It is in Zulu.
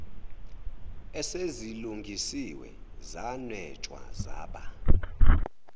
esezilungisiwe zanwetshwa zaba